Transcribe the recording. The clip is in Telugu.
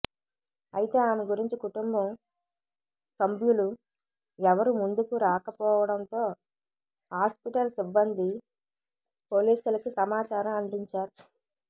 అయితే ఆమె గురించి కుటుంబం సంభ్యులు ఎవరు ముందుకు రాకపోవడంతో హాస్పిటల్ సిబ్బంది పోలీసులకి సమాచారం అందించారు